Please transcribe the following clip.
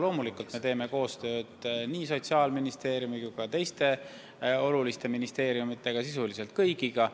Loomulikult me teeme koostööd nii Sotsiaalministeeriumiga kui ka teiste ministeeriumidega – sisuliselt kõigiga.